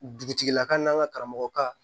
Dugutigilakaw n'an ka karamɔgɔ ba